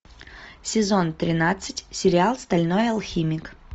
сезон тринадцать сериал стальной алхимик